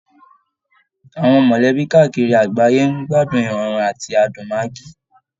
Àwọn mọ̀lẹ́bí káàkiri àgbáyé ń gbádùn ìrọ̀rùn àti adùn maggi